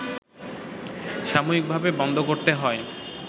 সাময়িকভাবে বন্ধ করতে হয়